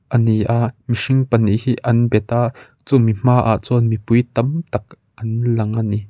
a ni a mihring pahnih hi an beta chumi hma ah chuan mipui tam tak an lang a ni.